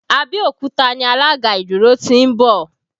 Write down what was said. Abẹ́òkúta ni alága ìdúró ti ń bọ̀